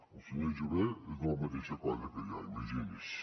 el senyor jové és de la mateixa colla que jo imagini’s